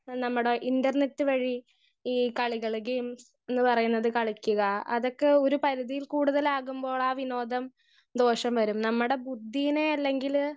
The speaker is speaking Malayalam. സ്പീക്കർ 1 എ നമ്മടെ ഇന്റർനെറ്റ് വഴി ഈ കളികൾ ഗെയിംസ് ന്ന് പറയണത് കളിക്കുക അതൊക്കെ ഒരു പരിധിയിൽ കൂടുതലാകുമ്പോൾ ആ വിനോദം ദോഷം വരും നമ്മടെ ബുദ്ധീനെ അല്ലെങ്കിൽ